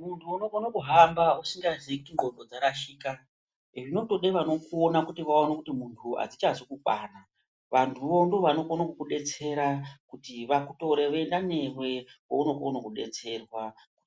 Muntu unokona kuhamba usingazivi kuti ngonxo dzarashika nevanopona kuti vaone kuti muntu neasingazi kubara vantuvo ndovanokona kudetsera kuti vakutore voenda newe kwaunokona kudetserwa